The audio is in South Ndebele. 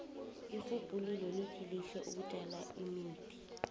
irhubhululo lithi kuhle ukutjala imithi